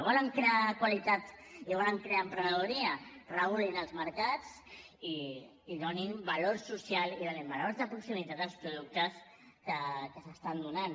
volen crear qualitat i volen crear emprenedoria regulin els mercats i donin valor social i donin valor de proximitat als productes que s’estan donant